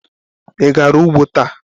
Ị gara ugbo taa?